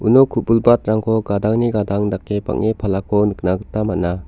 uno ku·bilbatrangko gadangni gadang dake bang·e palako nikna gita man·a.